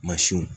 Mansinw